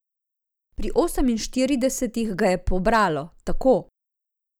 Pri oseminštiridesetih ga je pobralo, tako.